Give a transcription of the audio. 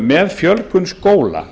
með fjölgun skóla